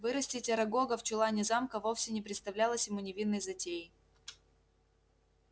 вырастить арагога в чулане замка вовсе не представлялось ему невинной затеей